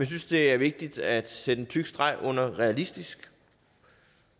synes det er vigtigt at sætte en tyk streg under realistisk